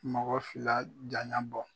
Mɔgɔ fila jaya bɔ